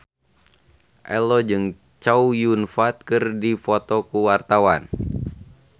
Ello jeung Chow Yun Fat keur dipoto ku wartawan